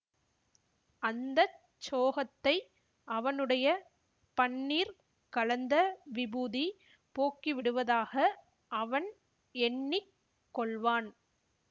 அந்த சோகத்தை அவனுடைய பன்னீர் கலந்த விபூதி போக்கிவிடுவதாக அவன் எண்ணி கொள்வான்